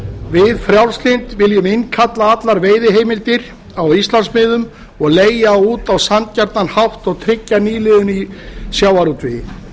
við frjálslynd viljum innkalla allar veiðiheimildir á íslandsmiðum og leigja út á sanngjarnan hátt og tryggja nýliðun í sjávarútvegi